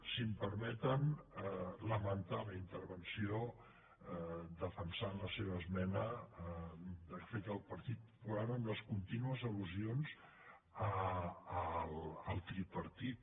si m’ho permeten lamentar la intervenció defensant la seva esmena que ha fet el partit popular amb les contínues al·lusions al tripartit